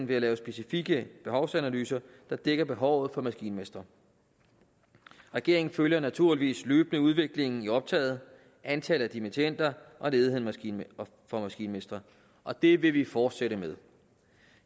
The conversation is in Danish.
ved at lave specifikke behovsanalyser der dækker behovet for maskinmestre regeringen følger naturligvis løbende udviklingen i optaget antallet af dimittender og ledigheden for maskinmestre og det vil vi fortsætte med